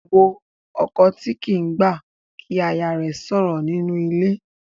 Wo ọkọ tí kì í gbà kí aya rẹ̀ sọ̀rọ̀ nínú ilé.